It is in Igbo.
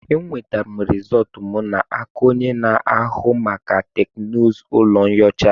Enwetara m rizọtụ m n'aka onye na-ahụ maka teknụzụ ụlọ nyocha.